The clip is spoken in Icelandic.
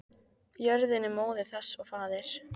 Jörðin er móðir þess og faðir.